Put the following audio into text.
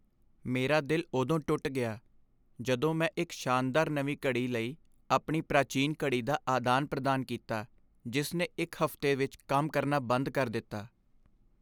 ਮੇਰਾ ਦਿਲ ਉਦੋਂ ਟੁੱਟ ਗਿਆ ਜਦੋਂ ਮੈਂ ਇੱਕ ਸ਼ਾਨਦਾਰ ਨਵੀਂ ਘੜੀ ਲਈ ਆਪਣੀ ਪ੍ਰਾਚੀਨ ਘੜੀ ਦਾ ਆਦਾਨ ਪ੍ਰਦਾਨ ਕੀਤਾ ਜਿਸ ਨੇ ਇੱਕ ਹਫ਼ਤੇ ਵਿੱਚ ਕੰਮ ਕਰਨਾ ਬੰਦ ਕਰ ਦਿੱਤਾ